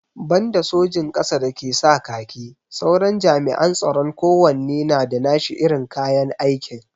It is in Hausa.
Banda sojin ƙasa da ke sa kaki, sauran jami'an tsaron kowanne na da nashi irin kayan aikin.